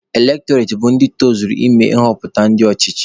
Elektọreti bụ ndị tozugoro ịme nghọpụta ndị ọchịchị.